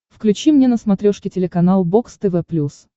включи мне на смотрешке телеканал бокс тв плюс